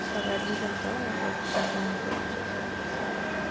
সবার admission তো যে যার মতো শেষে যে আরকি।